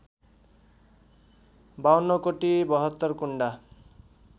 ५२ कुटी ७२ कुण्डा